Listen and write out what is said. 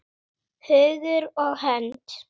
Hugur og hönd!